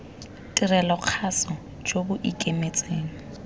tirelo kgaso jo bo ikemetseng